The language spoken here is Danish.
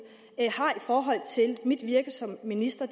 har i forhold til mit virke som minister